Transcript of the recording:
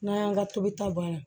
N'an y'an ka tobita banna